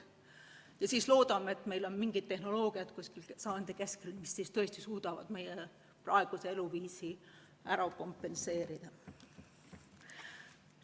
Sel juhul loodame, et meil on umbes sajandi keskel mingid tehnoloogiad, mis tõesti suudavad meie praeguse eluviisi ära kompenseerida.